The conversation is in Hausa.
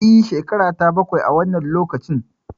E, shekarata bakwai a wannan lokacin.